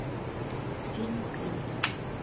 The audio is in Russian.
фильм крид